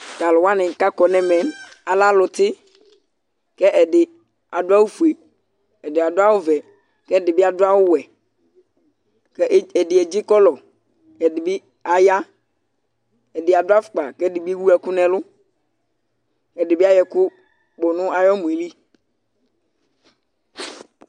Tʋ alʋ wanɩ kʋ akɔ nʋ ɛmɛ yɛ lɛ alʋtɩ kʋ ɛdɩ adʋ awʋfue, ɛdɩ adʋ awʋvɛ kʋ ɛdɩ bɩ adʋ awʋwɛ kʋ ɛdɩ edzikɔlʋ kʋ ɛdɩ bɩ aya Ɛdɩ adʋ afʋkpa kʋ ɛdɩ bɩ ewu ɛkʋ nʋ ɛlʋ Ɛdɩ bɩ ayɔ ɛkʋ nʋ ayʋ ɔmɔ yɛ li